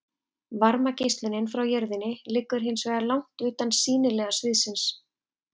Varmageislunin frá jörðinni liggur hins vegar langt utan sýnilega sviðsins.